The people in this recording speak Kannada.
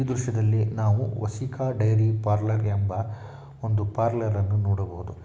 ಈ ದೃಶ್ಯದಲ್ಲಿ ನಾವು ವಸಿಕ ಡೈರಿ ಪಾರಲರ್ ಎಂಬ ಒಂದು ಪರ್ಲರನ್ನು ನೂಡಬಹುದು .